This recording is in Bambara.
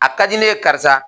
A ka di ne ye karisa